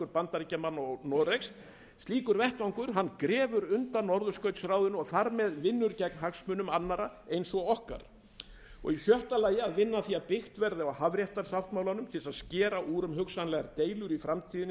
bandaríkjamanna og noregs slíkur vettvangur grefur undan norðurskautsráðinu og vinnur þar með gegn hagsmunum annarra eins og okkar í sjötta lagi að vinna að því að byggt verði á hafréttarsáttmálanum til að skera úr um hugsanlegar deilur í framtíðinni